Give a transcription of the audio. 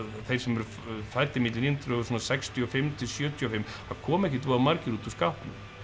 þeir sem eru fæddir milli nítján hundruð sextíu og fimm til sjötíu og fimm það komu ekkert voða margir út úr skápnum